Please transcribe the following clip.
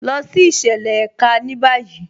Lọ sí ìṣẹ̀lẹ̀ èká ní báyì.